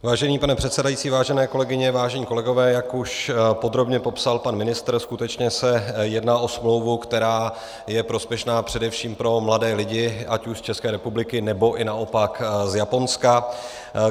Vážený pane předsedající, vážené kolegyně, vážení kolegové, jak už podrobně popsal pan ministr, skutečně se jedná o smlouvu, která je prospěšná především pro mladé lidi ať už z České republiky, nebo i naopak z Japonska.